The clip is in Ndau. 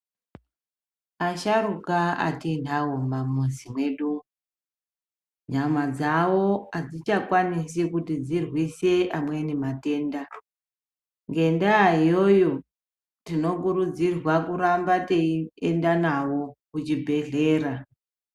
Asharuka atiinawo mumamuzi mwedu, nyama dzavo adzichakwanisi kuti dzirwise amweni matenda. Ngendaa iyoyo, tinokurudzirwa kuramba teienda nawo kuchibhedhlera.